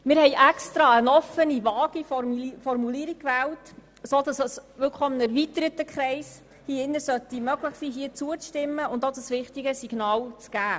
– Wir haben absichtlich eine offene, vage Formulierung gewählt, sodass es wirklich einem erweiterten Kreis hier im Grossen Rat möglich sein sollte, zuzustimmen und dieses wichtige Signal zu auszusenden.